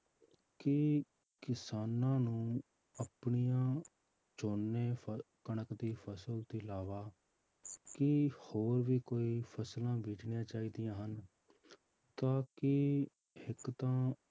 ਕਿ ਕਿਸਾਨਾਂ ਨੂੰ ਆਪਣੀਆਂ ਝੋਨੇ ਫ~ ਕਣਕ ਦੀ ਫਸਲ ਤੋਂ ਇਲਾਵਾ ਕੀ ਹੋਰ ਵੀ ਕੋਈ ਫਸਲਾਂ ਬੀਜਣੀਆਂ ਚਾਹੀਦੀਆਂ ਹਨ ਤਾਂ ਕਿ ਇੱਕ ਤਾਂ